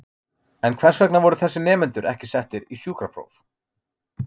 En hvers vegna voru þessir nemendur ekki settir í sjúkrapróf?